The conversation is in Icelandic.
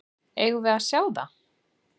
Eigum við að sjá það?